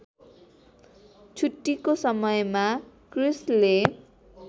छुट्टीको समयमा क्रिस्‌ले